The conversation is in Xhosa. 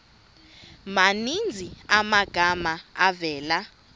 maninzi amagama avela